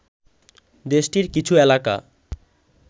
দেশটির কিছু এলাকা